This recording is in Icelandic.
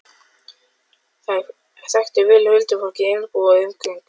Þær þekktu vel huldufólkið í Einbúa og umgengust það.